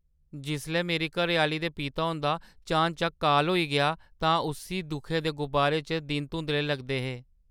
जिसलै मेरी घरैआह्‌ली दे पिता हुंदा चानचक्क काल होई गेआ तां उस्सी दुखै दे गुबारै च दिन धुंदले लगदे हे।